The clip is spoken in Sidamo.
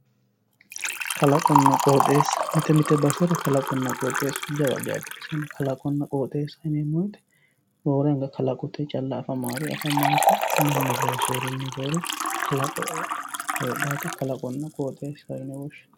Kalaqonna qoxxeessa mite mite basera kalaqunna qoxxeesu jawa geeshsha baxisano, kalaqonna qoxxeessaho yineemmo woyte roore anga kalaqote calla afamanoreti mannu loosinorinni roore kalaqoho heedhanotta kalaqonna qoxxeessaho yinne woshshinanni.